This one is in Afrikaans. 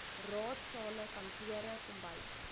raadsale kantore kombuise